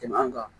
Tɛmɛ an kan